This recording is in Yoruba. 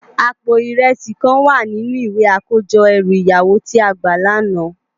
Àpó irèsi kán wá ninú iwé àkójò èrú iyàwó ti á gbá làná